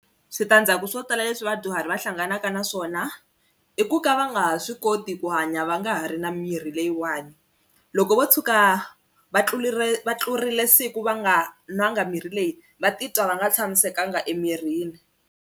Switandzhaku swo tala leswi vadyuhari va hlanganaka na swona i ku ka va nga ha swi koti ku hanya va nga ha ri na mirhi leyiwani loko vo tshuka va tlulire va tlurile siku va nga nwanga mirhi leyi va titwa va nga tshamisekanga emirini.